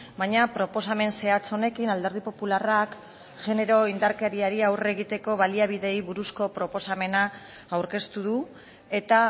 baina proposamen zehatz honekin alderdi popularrak genero indarkeriari aurre egiteko baliabideei buruzko proposamena aurkeztu du eta